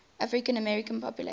african american population